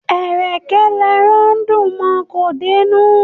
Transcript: Ẹ̀rẹ̀kẹ́ l'ẹran dùn mọ; kò dé'nú.